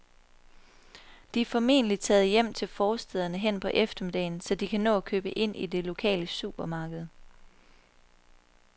De er formentlig taget hjem til forstæderne hen på eftermiddagen, så de kan nå at købe ind i det lokale supermarked.